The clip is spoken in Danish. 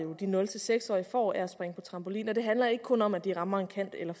de nul seks årige får af det at springe på trampolin det handler ikke kun om at de rammer en kant eller